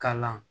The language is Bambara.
Kalan